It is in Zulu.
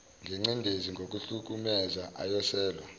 ngencindezi ngokuhlukumeza awoselwa